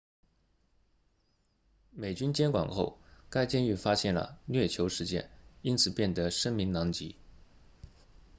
美军接管后该监狱发现了虐囚事件自此变得声名狼藉